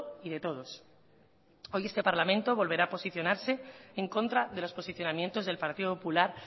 y de todos hoy este parlamento volverá a posicionarse en contra de los posicionamientos del partido popular